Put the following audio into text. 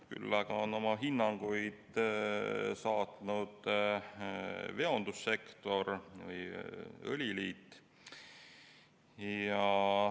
Küll aga on oma hinnanguid saatnud veondussektor ja õliliit.